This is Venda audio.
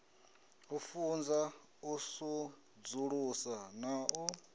u funza u sudzulusa na